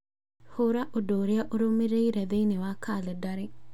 hũra ũndũ ũrĩa ũrũmĩrĩire thĩinĩ wa kalendari